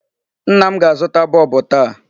Nna m ga-azụta bulb taa.